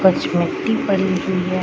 कुछ मिट्टी पड़ी हुई है ।